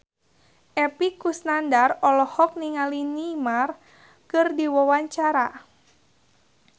Epy Kusnandar olohok ningali Neymar keur diwawancara